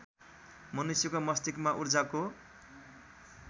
मनुष्यका मस्तिष्कमा ऊर्जाका